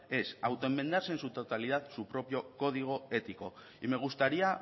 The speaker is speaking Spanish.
es autoenmendarse en su totalidad su propio código ético y me gustaría